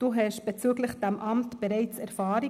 Sie haben bezüglich dieses Amts bereits Erfahrung.